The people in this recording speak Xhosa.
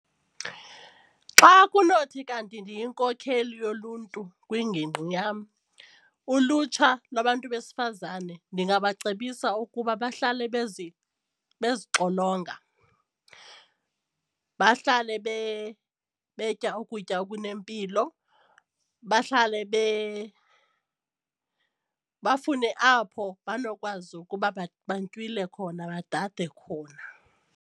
Xa kunothi kanti ndiyinkokheli yoluntu kwingingqi yam ulutsha nabantu besifazane ndingabacebisa ukuba bahlale bezixolonga, bahlale betya ukutya okunempilo, bahlale bafune apho banokwazi ukuba bantywile khona badade khona.